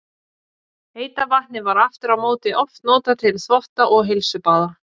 Heita vatnið var aftur á móti oft notað til þvotta og heilsubaða.